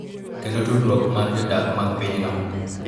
Kendo tudruok mar jodak mag pinyno .